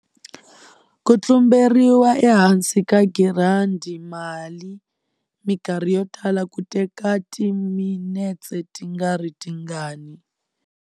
Ku tlumberiwa ehansi ka girandi mali mikarhi yotala ku teka timinetse tingaritingani.